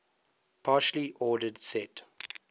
partially ordered set